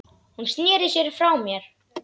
Hún sneri sér frá mér.